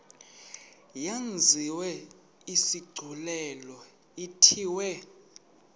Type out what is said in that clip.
yenziwe isigculelo ithiwe